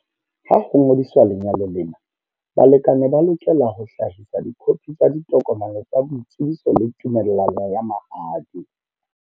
Ha ho ngodiswa lenyalo lena, balekane ba lokela ho hlahisa dikhophi tsa ditokomane tsa boitsebiso le tumellano ya mahadi.